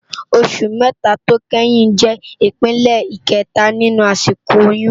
Óṣù mètá tó kéyìn jè ipélé ikètá ninú àsikó óyùn